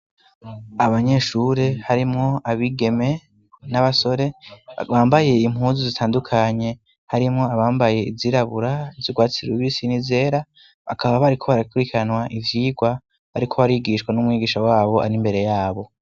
Abanyeshure harimwo abigeme n'abasore bambaye impuzu zitandukanye harimwo abambaye izirabura zirwatsirwebisini zera hakaba bariko barakirikanwa ivyirwa, ariko abarigishwa n'umwigisha wabo ari imbere yabo.